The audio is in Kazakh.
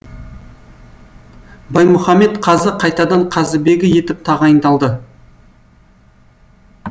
баймұхаммед қазы қайтадан қазыбегі етіп тағайындалды